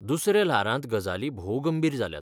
दुसऱ्या ल्हारांत गजाली भोव गंभीर जाल्यात.